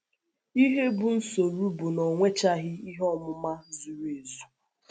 Ihe bụ́ nsọ́rụ̀ bụ na ọ nwechaghị ihe ọmụma zuru ezu.